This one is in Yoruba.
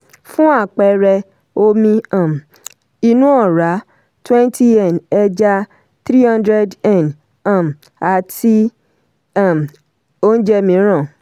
fún àpẹẹrẹ omi um inú ọ̀rá twenty n ẹja three hundred n um àti um oúnjẹ mìíràn.